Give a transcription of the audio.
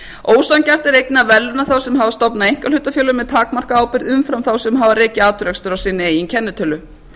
ósanngjarnt er einnig að verðlauna þá sem hafa stofnað einkahlutafélög með takmarkaða ábyrgð umfram þá sem hafa rekið atvinnurekstur á sinni eigin kennitölu